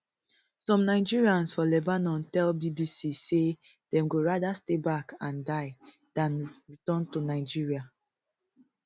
some nigerians for lebanon tell bbc say dem go rather stay back and die dan return to nigeria